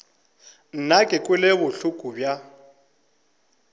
nna ke kwele bohloko bja